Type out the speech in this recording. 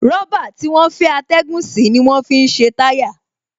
Rọ̀bà tí wọ́n fẹ́ atẹ́gùn sí ni wọ́n fi ṣe táyà